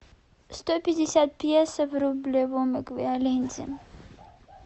сто пятьдесят песо в рублевом эквиваленте